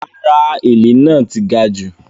Rárá “èlé” náà ti gajù.